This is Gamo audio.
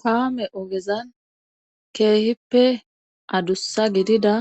kaame oogezan keehippe addussa gidida